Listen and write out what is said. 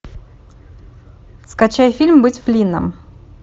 скачай фильм быть флинном